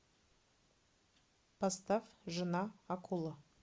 поставь жена акула